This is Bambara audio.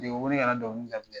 U wele ka na dɔngili